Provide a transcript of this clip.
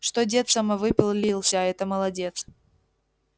что дед самовыпилился это молодец